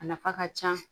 A nafa ka ca